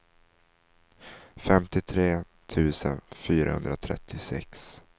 femtiotre tusen fyrahundratrettiosex